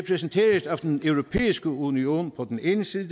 den europæiske union på den ene side